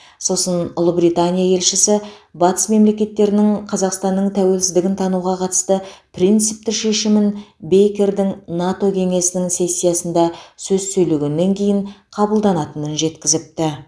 сосын ұлыбритания елшісі батыс мемлекеттерінің қазақстанның тәуелсіздігін тануға қатысты принципті шешімі бейкердің нато кеңесінің сессиясында сөз сөйлегеннен кейін қабылданатынын жеткізіпті